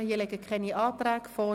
Es liegen auch keine Anträge vor.